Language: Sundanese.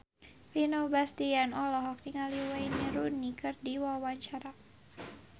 Vino Bastian olohok ningali Wayne Rooney keur diwawancara